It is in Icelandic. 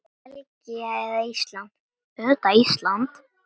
Belgía eða Ísland?